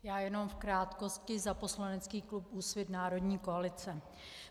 Já jen v krátkosti za poslanecký klub Úsvit - Národní koalice.